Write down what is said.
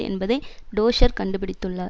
என்பதை டொஷ்ஷர் கண்டு பிடித்துள்ளார்